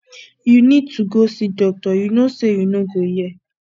you need to go see doctor you no say you no go hear